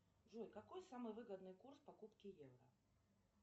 джой какой самый выгодный курс покупки евро